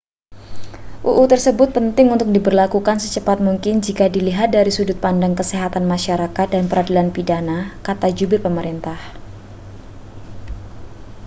"uu tersebut penting untuk diberlakukan secepat mungkin jika dilihat dari sudut pandang kesehatan masyarakat dan peradilan pidana, kata jubir pemerintah.